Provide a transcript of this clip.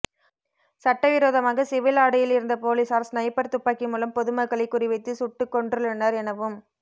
சட்டவிரோதமாக சிவில் ஆடையில் இருந்த போலீசார் ஸ்நைப்பர் துப்பாக்கி மூலம் பொதுமக்களை குறிவைத்து சுட்டு கொன்றுள்ளனர் எனவும்